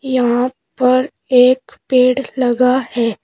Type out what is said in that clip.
यहां पर एक पेड़ लगा है।